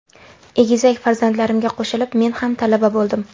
Egizak farzandlarimga qo‘shilib men ham talaba bo‘ldim.